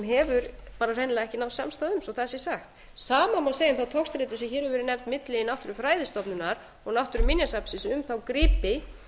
hefur hreinlega ekki náðst samstaða um svo það sé sagt það má segja um þá togstreitu sem hér hefur verið nefnd milli náttúrufræðistofnunar og náttúruminjasafnsins um þá gripi